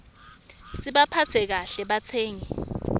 sibaphatse kahle batsengi